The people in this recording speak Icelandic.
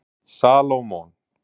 Salómon